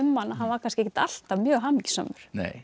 hann að hann var kannski ekkert alltaf mjög hamingjusamur